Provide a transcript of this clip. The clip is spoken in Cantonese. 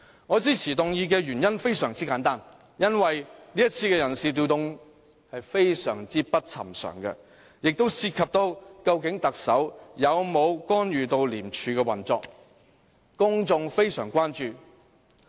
我支持議案的原因非常簡單，因為這次人事調動非常不尋常，也涉及究竟特首有否干預廉署的運作，公眾非常關注。